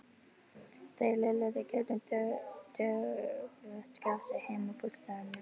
Þeir lölluðu gegnum döggvott grasið heim að bústaðnum.